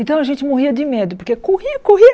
Então a gente morria de medo, porque corria, corria.